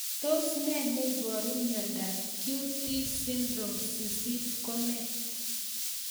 Tos ne neiparu miondop QT syndrome 8 ko nee